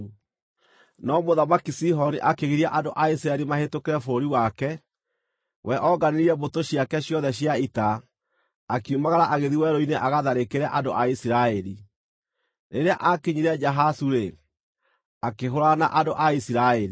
No Mũthamaki Sihoni akĩgiria andũ a Isiraeli mahĩtũkĩre bũrũri wake. We onganirie mbũtũ ciake ciothe cia ita, akiumagara agĩthiĩ werũ-inĩ agatharĩkĩre andũ a Isiraeli. Rĩrĩa aakinyire Jahazu-rĩ, akĩhũũrana na andũ a Isiraeli.